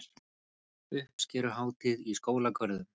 Uppskeruhátíð í skólagörðum